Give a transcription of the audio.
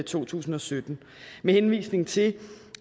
to tusind og sytten med henvisning til